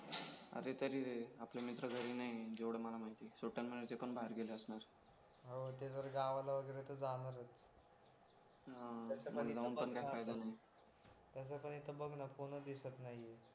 अरे तरी रे आपले मित्र घरी नाही जेवढे मला माहितीये सोपान मना ते पण बाहेर गेले असणार हाव ते जर गावाला वगैरे जाणार होते हा जाऊन पण काही फायदा नाही तसं तर बघ ना कोणच दिसत नाहीये